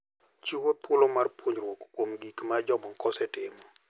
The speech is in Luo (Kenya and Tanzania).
Chiwo thuolo mar puonjruok kuom gik ma jomoko osetimo.